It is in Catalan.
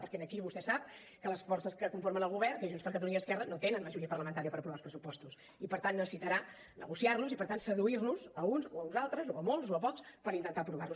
perquè aquí vostè ho sap les forces que conformen el govern que és junts per catalunya i esquerra no tenen majoria parlamentària per aprovar els pressupostos i per tant necessitarà negociar los i per tant seduir nos a uns o a uns altres o a molts o a pocs per intentar aprovar los